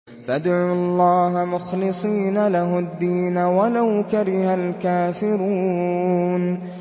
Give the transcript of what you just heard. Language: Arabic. فَادْعُوا اللَّهَ مُخْلِصِينَ لَهُ الدِّينَ وَلَوْ كَرِهَ الْكَافِرُونَ